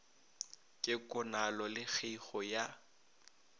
ke konalo le kgeigo ya